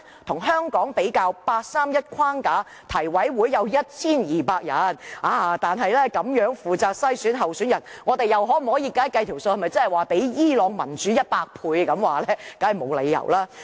與香港比較，在八三一框架下，提委會有 1,200 人，但這樣負責篩選候選人，經運算後，我們是否較伊朗民主100倍呢？